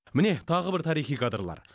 міне тағы бір тарихи кадрлар